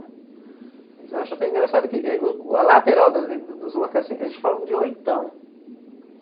Eles acham até engraçado que a lateral dos locais, eles falam de oitão.